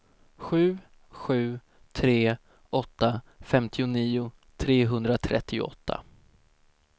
sju sju tre åtta femtionio trehundratrettioåtta